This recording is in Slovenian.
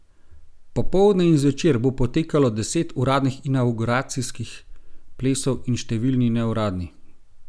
Popoldne in zvečer bo potekalo deset uradnih inavguracijskih plesov in številni neuradni.